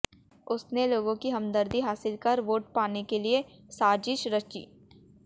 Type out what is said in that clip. उसने लोगों की हमदर्दी हासिल कर वोट पाने के लिए साजिश रची